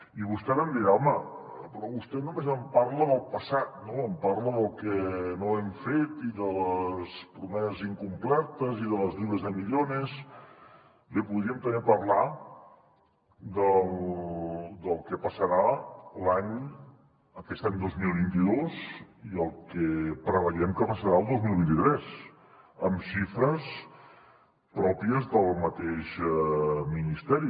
i vostè em dirà home però vostè només em parla del passat no em parla del que no hem fet i de les promeses incomplertes i de las dríem també parlar del que passarà aquest any dos mil vint dos i el que preveiem que passarà el dos mil vint tres amb xifres pròpies del mateix ministeri